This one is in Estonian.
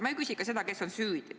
Ma ei küsi seda, kes on süüdi.